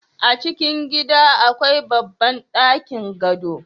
a cikin gida akwai babban ɗakin gado